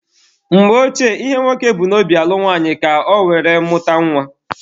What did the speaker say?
Mgbe Ochie, ihe nwoke bu n'obi alụ nwaanyị bụ ka ọ were mụta nwa.